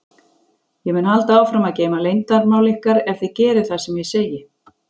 Ég mun halda áfram að geyma leyndarmál ykkar ef þið gerið það sem ég segi.